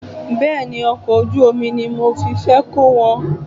Bẹ́ẹ̀ni, Ọkọ̀ ojú omi ni mo fi fẹ́ kó wọn.